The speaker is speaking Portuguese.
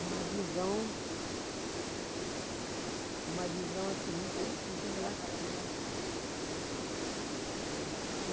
Uma visão... Uma visão, assim, muito muito relativa.